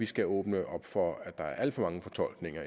skal åbne op for at der efterfølgende er alt for mange fortolkninger